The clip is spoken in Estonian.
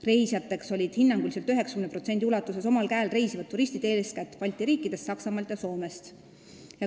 Reisijateks olid hinnanguliselt 90% ulatuses omal käel reisivad turistid eeskätt Balti riikidest, Saksamaalt ja Soomest.